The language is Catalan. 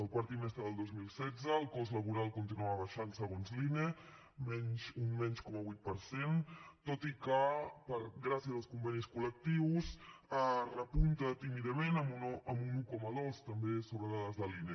el quart trimestre del dos mil setze el cost laboral continuava baixant segons l’ine un menys zero coma vuit per cent tot i que gràcies als convenis col·lectius repunta tímidament amb un un coma dos també sobre dades de l’ine